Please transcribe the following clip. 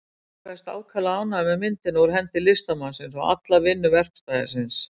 Torfi kveðst ákaflega ánægður með myndina úr hendi listamannsins og alla vinnu verkstæðisins.